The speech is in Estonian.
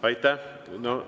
Aitäh!